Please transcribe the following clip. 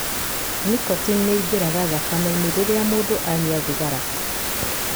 Nicotine nĩ ĩingĩraga thakame-inĩ rĩrĩa mũndũ anyua thigara.